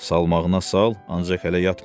Salmağına sal, ancaq hələ yatmıram.